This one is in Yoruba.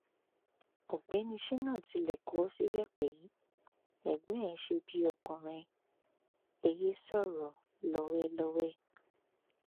ọgbẹni sina tilẹ kọ ọ síbẹ pé ẹgbọn ẹ ṣe bíi ọkùnrin ẹ yéé sọrọ lọwẹ lọwẹ